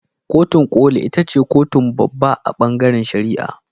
Kotun koli ita ce kotun babba a bangaren shari'a.